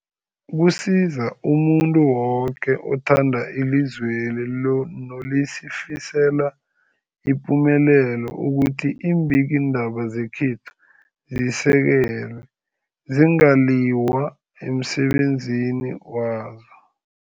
Kusiza umuntu woke othanda ilizweli lo nolifisela ipumelelo ukuthi iimbikiindaba zekhethu zisekelwe, zingaliywa emsebenzini wazo.